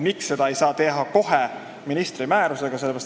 Miks ei saa seda teha kohe ministri määrusega?